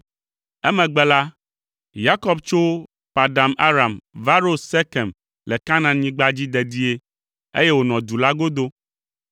Emegbe la, Yakob tso Padan Aram va ɖo Sekem le Kanaanyigba dzi dedie, eye wònɔ du la godo.